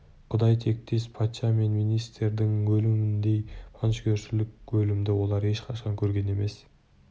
құдай тектес патша мен министрдің өліміндей жантүршігерлік өлімді олар ешқашан көрген емес